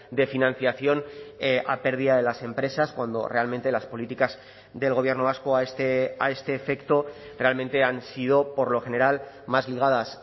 de financiación a pérdida de las empresas cuando realmente las políticas del gobierno vasco a este efecto realmente han sido por lo general más ligadas